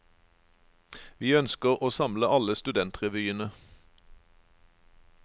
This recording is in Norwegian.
Vi ønsker å samle alle studentrevyene.